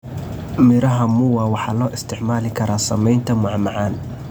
Midhaha muwa waxaa loo isticmaali karaa sameynta macmacaan.